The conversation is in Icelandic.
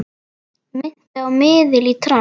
Minnti á miðil í trans.